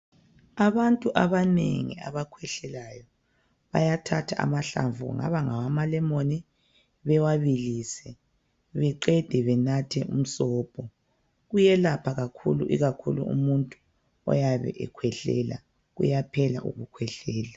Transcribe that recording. Abantu abanengi abakhwehlelayo bayathatha amahlamvu kungaba ngawama lemon bewabilise beqede benathe umsobho kuyelapha kakhulu ikakhulu umuntu oyabe ekhwehlela kuyaphela ukukhwehlela.